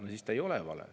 Aga see ei ole vale.